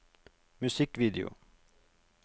musikkvideo